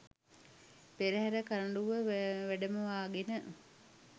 පෙරහර කරඬුව වැඩමවාගෙන